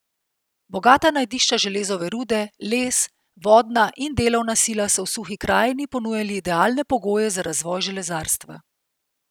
Bogata najdišča železove rude, les, vodna in delovna sila so v Suhi krajini ponujali idealne pogoje za razvoj železarstva.